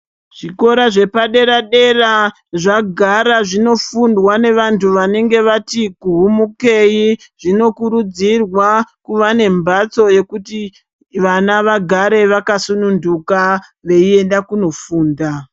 Zvikora zvepadera dera zvagara zvinofundwa nevanthu vanenge vati vuhumukei zvinokurudzirwa kuvanembatso yekuti vana vagare vakasununduka veienda kunofunda.